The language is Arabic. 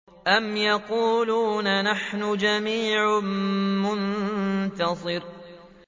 أَمْ يَقُولُونَ نَحْنُ جَمِيعٌ مُّنتَصِرٌ